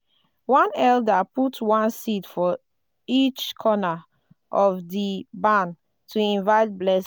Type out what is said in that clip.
one elder put one seed for each corner of di barn to invite blessings.